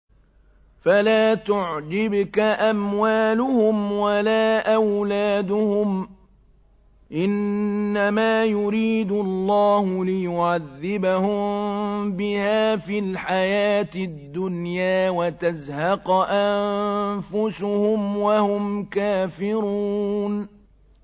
فَلَا تُعْجِبْكَ أَمْوَالُهُمْ وَلَا أَوْلَادُهُمْ ۚ إِنَّمَا يُرِيدُ اللَّهُ لِيُعَذِّبَهُم بِهَا فِي الْحَيَاةِ الدُّنْيَا وَتَزْهَقَ أَنفُسُهُمْ وَهُمْ كَافِرُونَ